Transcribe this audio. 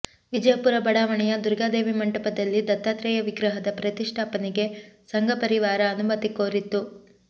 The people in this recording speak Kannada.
ವಿಜಯಪುರ ಬಡಾವಣೆಯ ದುರ್ಗಾದೇವಿ ಮಂಟಪದಲ್ಲಿ ದತ್ತಾತ್ರೇಯ ವಿಗ್ರಹದ ಪ್ರತಿಷ್ಠಾಪನೆಗೆ ಸಂಘಪರಿವಾರ ಅನುಮತಿ ಕೋರಿತ್ತು